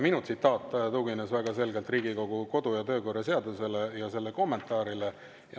Minu tsitaat tugines väga selgelt Riigikogu kodu‑ ja töökorra seadusele ja selle kommentaarile.